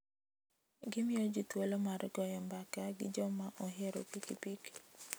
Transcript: Gimiyo ji thuolo mar goyo mbaka gi joma ohero pikipiki.